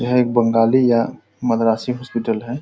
यह एक बंगाली या मद्रासी हॉस्पिटल है।